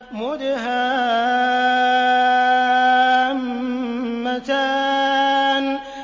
مُدْهَامَّتَانِ